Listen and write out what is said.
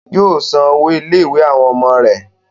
Yóò san owó ilé-ìwé àwọn ọmọ rẹ̀.